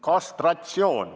" Kastratsioon.